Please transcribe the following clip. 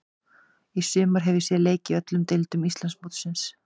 Í sumar hef ég séð leiki í öllum deildum Íslandsmótsins.